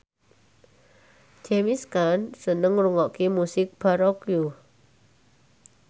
James Caan seneng ngrungokne musik baroque